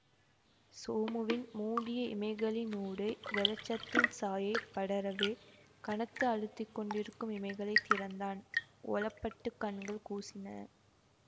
சோமுவின் மூடிய இமைகளினூடே வௌச்சத்தின் சாயை படரவே கனத்து அழுத்திக்கொண்டிருக்கும் இமைகளைத் திறந்தான்ஔபட்டுக் கண்கள் கூசின